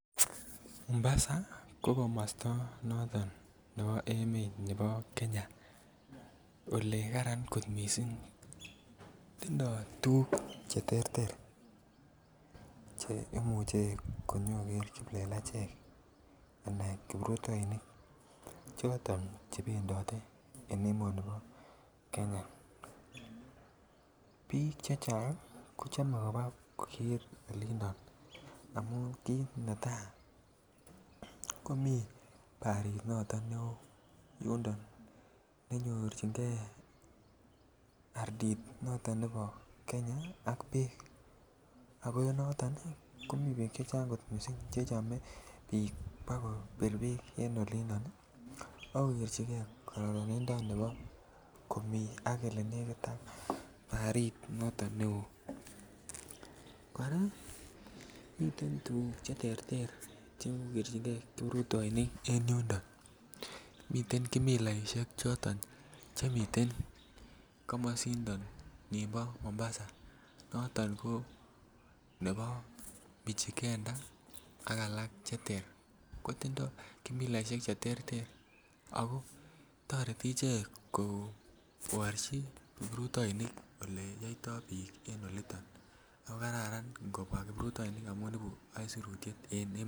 Mombasa ko komosta nebo emet nebo Kenya Ole Karan kot mising tindoi Che terter Che imuche konyo koger kiplelachek Anan kiprutoinik choton Che bendote en emoni bo Kenya bik chechang kochome koba kogeer olinto amun kit netai komiten barit noton neo yundo ne nyorchigei ardit noton nebo Kenya ak bek ako noton ko miten bek Che Chang kot mising Che chome bik kobir bek en olinto asiko kerchige kororonindo nebo komii Ole nekit ak barit noton neo kora miten tuguk Che terter Che kerchingei kiprutoinik en yundo miten kimilaisiek Che miten komosinito nimbo Mombasa noton ko chebo Mijikenda ak alak Che ter ko tindoi kimilaisiek Che terter ako toreti ichek koborchi kiprutoinik Ole yoitoi bik en olito